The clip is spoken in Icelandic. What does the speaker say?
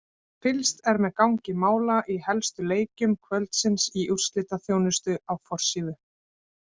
Fylgst er með gangi mála í helstu leikjum kvöldsins í úrslitaþjónustu á forsíðu